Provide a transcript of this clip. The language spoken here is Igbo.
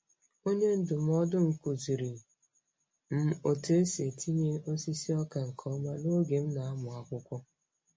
Onye ndụmọdụ m kụziiri m otu esi etinye osisi ọka nke ọma n'oge m na-amụ akwụkwọ.